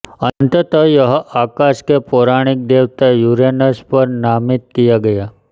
अंततः यह आकाश के पौराणिक देवता यूरेनस पर नामित किया गया